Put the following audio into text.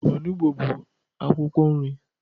Onugbo bu akwukwo nri